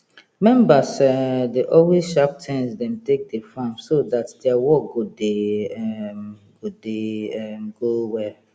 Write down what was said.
members um dey always sharp tins dem take dey farm so dat dia work go dey um go dey um go well